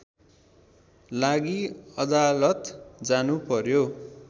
लागि अदालत जानु पर्‍यो